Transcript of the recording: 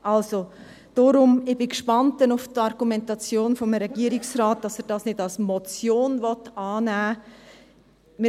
Also, deswegen bin ich gespannt auf die Argumentation des Regierungsrates, warum er dies nicht als Motion annehmen will.